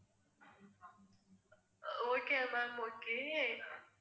ah okay ma'am okay